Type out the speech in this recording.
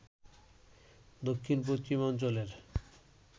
দক্ষিণ-পশ্চিম অঞ্চলের